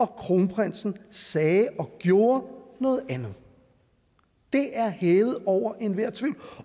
kronprinsen sagde og gjorde noget andet det er hævet over enhver tvivl